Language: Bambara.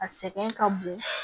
A sɛgɛn ka bon